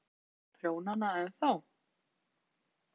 Haukur: Tekurðu í prjónana ennþá?